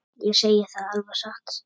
Ég segi það alveg satt.